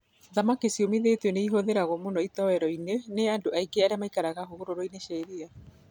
Thamaki ciũmithĩtio nĩ ĩhũthagĩrũo mũno itowero-ini nĩ andũ aingĩ arĩa maikaraga hũgũrũrũ-inĩ cia iria.